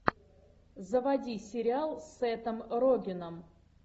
заводи сериал с сетом рогеном